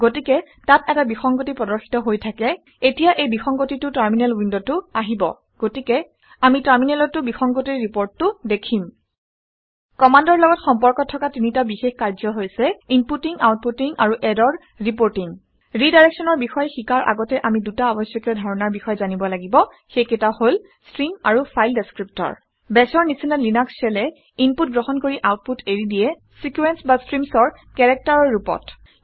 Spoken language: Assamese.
গতিকে তাত এটা বিসংগতি প্ৰদৰ্শিত হৈ থাকে। এতিয়া এই বিসংগতিটো টাৰমিনেল উইণ্ডত উইণ্ডতো আহিব। গতিকে আমি টাৰমিনেলত টাৰমিনেলতো বিসংগতিৰ ৰিপৰ্টিংটো দেখিম। কামাণ্ডৰ লগত সম্পৰ্ক থকা তিনিটা বিশেষ কাৰ্য হৈছে ইনপুটিং আউটপুটিং আৰু ইৰৰ ৰিপৰ্টিং ৰিডাইৰেক্সনৰ বিষয়ে শিকাৰ আগতে আমি দুটা আৱশ্যকীয় ধাৰণাৰ বিষয়ে জানিব লাগিব সেইকেইটা হল - ষ্ট্ৰিম আৰু ফাইল ডেচক্ৰিপটৰ। Bash ৰ নিচিনা লিনাক্স shell এ ইনপুট গ্ৰহণ কৰি আউটপুট এৰি দিয়ে চিকুৱেঞ্চ বা ষ্ট্ৰিমচ অৰ কেৰেক্টাৰৰ ৰূপত